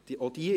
Sie haben …